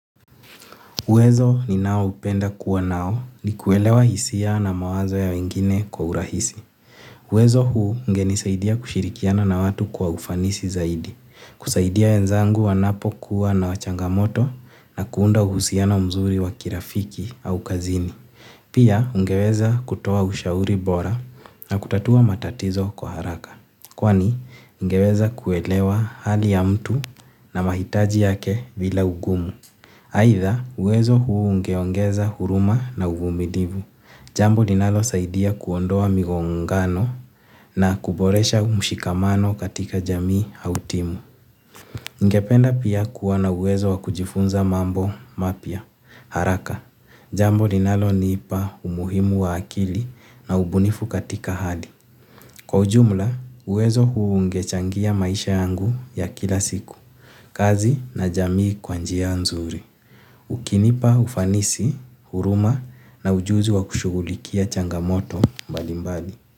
Uwezo ninaoupenda kuwa nao ni kuelewa hisia na mawazo ya wengine kwa urahisi. Uwezo huu ungenisaidia kushirikiana na watu kwa ufanisi zaidi, kusaidia wenzangu wanapo kuwa na changamoto na kuunda uhusiano mzuri wa kirafiki au kazini. Pia ningeweza kutoa ushauri bora na kutatua matatizo kwa haraka. Kwani ningeweza kuelewa hali ya mtu na mahitaji yake bila ugum. Haitha, uwezo huu ungeongeza huruma na uvumilivu. Jambo linalosaidia kuondoa migongano na kuboresha mshikamano katika jamii au timu. Ningependa pia kuwa na uwezo wa kujifunza mambo mapya. Haraka, jambo linaloniipa umuhimu wa akili na ubunifu katika hali. Kwa ujumla uwezo ungechangia maisha yangu ya kila siku kazi na jamii kwa njia nzuri. Ukinipa, ufanisi, huruma na ujuzi wa kushughulikia changamoto mbali mbali.